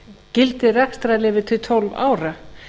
gildi rekstrarleyfa til tólf ára